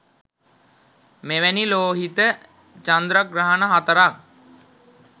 මෙවැනි ලෝහිත චන්ද්‍රග්‍රහණ හතරක්